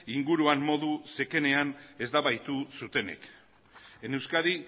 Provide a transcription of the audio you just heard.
inguruan modu zekenean eztabaidatu zutenek en euskadi